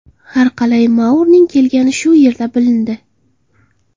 Har qalay Mourning kelgani shu yerda bilindi.